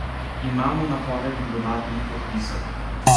Imamo napovedi dodatnih podpisov.